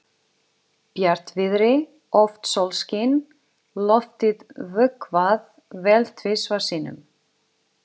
Bjartviðri, oft sólskin, loftið vökvað vel tvisvar sinnum.